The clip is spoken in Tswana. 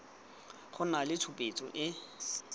go nna le tshupetso e